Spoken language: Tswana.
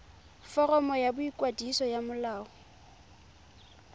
foromo ya boikwadiso ya molao